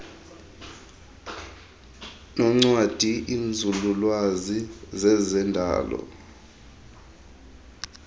noncwadi iinzululwazi zezendalo